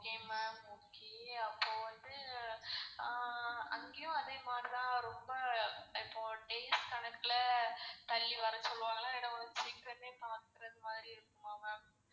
okay ma'am okay அப்போ வந்து ஆஹ் அங்கயும் அதேமாரி தான் ரொம்ப இப்போ days கணக்குல தள்ளிவர சொல்லுவாங்க இல்ல கொஞ்சம் சீக்கிரமே பாக்குற மாரி இருக்குமா mam?